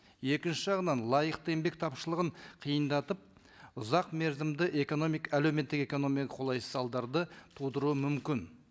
екінші жағынан лайықты еңбек тапшылығын қиындатып ұзақ мерзімді әлеуметтік экономикалық қолайсыз салдарды тудыруы мүмкін